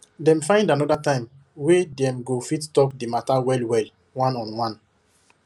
dem find another time wey dem go fit talk the matter well well one on one